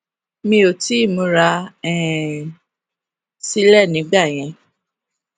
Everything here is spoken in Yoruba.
mi ò tíì múra um sílè nígbà yẹn